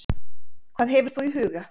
Hvað hefur þú í huga?